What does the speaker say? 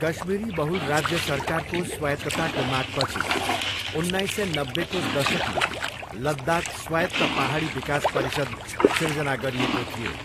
कश्मीरी बहुल राज्य सरकारको स्वायत्तताको मागपछि उन्नाइस सय नब्बेको दशकमालद्दाख स्वायत्त पाहाडी विकास परिषद सिर्जना गरिएको थियो।